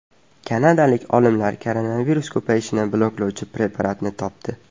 Kanadalik olimlar koronavirus ko‘payishini bloklovchi preparatni topdi .